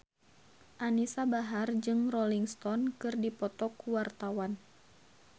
Anisa Bahar jeung Rolling Stone keur dipoto ku wartawan